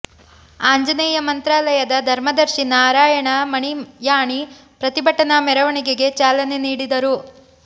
ಆಂಜನೇಯ ಮಂತ್ರಾಲಯದ ಧರ್ಮದರ್ಶಿ ನಾರಾಯಣ ಮಣಿಯಾಣಿ ಪ್ರತಿಭಟನಾ ಮೆರವಣಿಗೆಗೆ ಚಾಲನೆ ನೀಡಿದರು